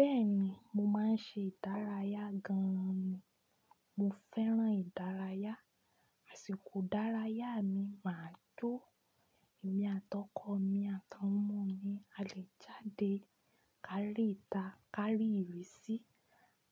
Bẹ́ẹ̀ni, mo máa ń ṣe ìdárayá gan ni. Mo fẹ́ràn ìdárayá. Àsìkò ìdárayá mi máa tó. Ẹ̀mi àtọkọ̀ mi ati awọn ọmọ mi a lè jáde kárí ìta, kárí ìrísí,